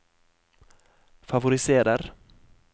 favoriserer